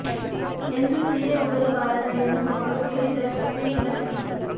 ಎಂದು ಸೀರೆ ಉಡಲು ಬಾರದ ಹೆಣ್ಣು ಮಗಳು ಕೇಳಿದರೆ ತಪ್ಪೇನಿಲ್ಲ ಬಿಡಿ